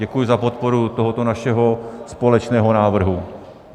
Děkuji za podporu tohoto našeho společného návrhu.